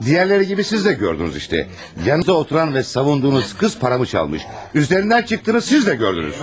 Digərləri kimi siz də gördünüz işte, yanınızda oturan və savunduğunuz qız paramı çalıb, üzərindən çıxdığını siz də gördünüz.